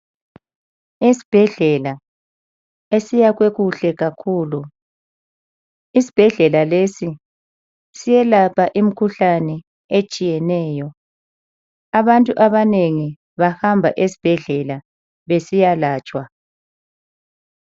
Esibhedlela esiyakhwe kuhle kakhulu, isibhedlela lesi siyelapha imikhuhlane etshiyeneyo. Abantu abanengi bahamba esibhedlela besiyalatshwa.